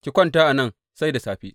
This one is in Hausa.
Ki kwanta a nan sai da safe.